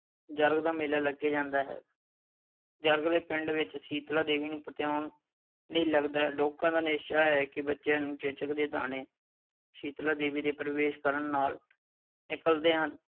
ਜਰਗ ਦਾ ਮੇਲਾ ਲੱਗਦਾ ਹੈ। ਜਰਗ ਦੇ ਪਿੰਡ ਵਿੱਚ ਸ਼ੀਤਲਾ ਦੇਵੀ ਨੂੰ ਲਈ ਲੱਗਦਾ ਹੈ। ਲੋਕਾਂ ਦਾ ਨਿਸ਼ਚਾ ਹੈ ਕਿ ਬੱਚਿਆਂ ਨੂੰ ਚੇਚਕ ਦੇ ਦਾਣੇ ਸ਼ੀਤਲਾ ਦੇਵੀ ਦੇ ਪ੍ਰਵੇਸ਼ ਕਰਨ ਨਾਲ ਨਿਕਲਦੇ ਹਨ।